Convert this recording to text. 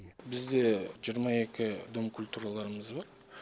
бізде жиырма екі дом культураларымыз бар